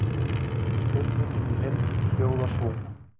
Spurningin í heild hljóðar svona: